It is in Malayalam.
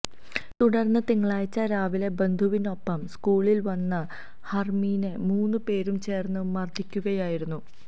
തുടര്ന്ന് തിങ്കളാഴ്ച രാവിലെ ബന്ധുവിനൊപ്പം സ്കൂളില് വന്ന ഫര്മീനെ മൂന്ന് പേരും ചേര്ന്ന് മര്ദ്ദിക്കുകയായിരുന്നു